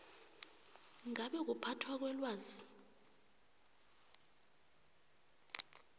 ingabe ukuphathwa kwelwazi